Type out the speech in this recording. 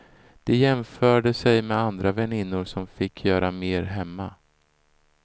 De jämförde sig med andra väninnor som fick göra mer hemma.